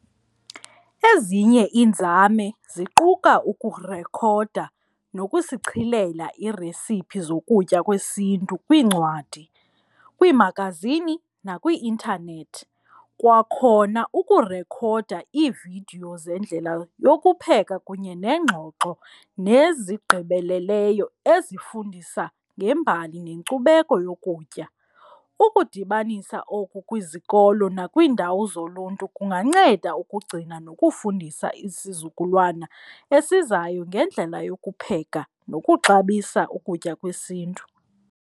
Ezinye iinzame ziquka ukurekhoda nokusichilela iiresiphi zokutya kwesiNtu kwiincwadi, kwiimagazini nakwii-intanethi. Kwakhona ukurekhoda iividiyo zendlela yokupheka kunye neengxoxo nezigqibeleleyo ezifundisa ngembali nenkcubeko yokutya, ukudibanisa oku kwizikolo nakwiindawo zoluntu kunganceda ukugcina nokufundisa isizukulwana esizayo ngendlela yokupheka nokuxabisa ukutya kwesiNtu.